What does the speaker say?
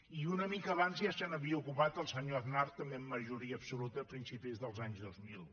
i una mica abans ja se n’havia ocupat el senyor aznar també amb majoria absoluta a principis dels anys dos mil